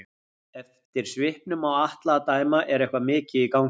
Eftir svipnum á Atla að dæma er eitthvað mikið í gangi.